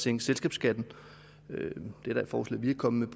sænke selskabsskatten det er da et forslag vi er kommet